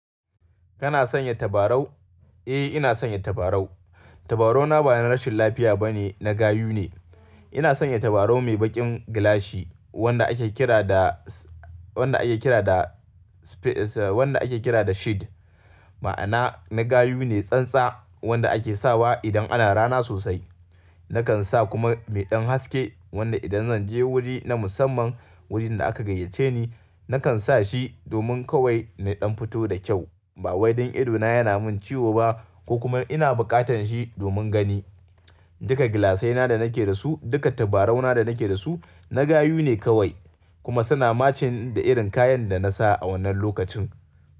Kana sanya tabarau? Eh, ina sanya tabarau. Tabarau na ba na rashin lafiya ba ne, na gayu ne. Ina sanya tabarau mai baƙin gilashi wanda ake kira da, s-wanda ake kira da s-wanda ake kira da shade. Ma'ana na gayu ne, tsantsa wanda ake sawa idan ana rana sosai. Nakan sa kuma mai ɗan haske wanda idan zan je wuri na musamman, wurin da aka gayyace ni, nakan sa shi domin kawai na ɗan fito da kyau. Ba wai don ido na yana min ciwo ba ko kuma ina bukatan shi domin gani. Duka gilasai na da nake da su, duka tabarau na da nake da su na gayu ne kawai kuma suna matching da irin kayan da na sa a wannan lokacin.